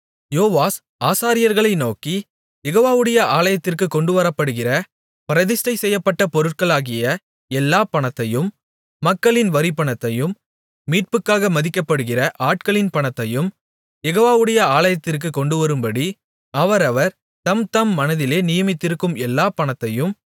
யோவாஸ் ஆசாரியர்களை நோக்கி யெகோவாவுடைய ஆலயத்திற்குக் கொண்டுவரப்படுகிற பிரதிஷ்டை செய்யப்பட்ட பொருட்களாகிய எல்லாப் பணத்தையும் மக்களின் வரிப்பணத்தையும் மீட்புக்காக மதிக்கப்படுகிற ஆட்களின் பணத்தையும் யெகோவாவுடைய ஆலயத்திற்குக் கொண்டுவரும்படி அவரவர் தம்தம் மனதிலே நியமித்திருக்கும் எல்லாப் பணத்தையும்